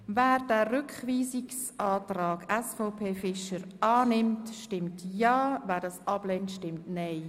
Wer den Rückweisungsantrag SVP/Fischer annimmt, stimmt Ja, wer diesen ablehnt, stimmt Nein.